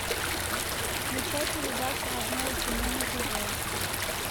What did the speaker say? включай передачу родное кино на тв